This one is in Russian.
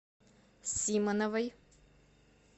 симоновой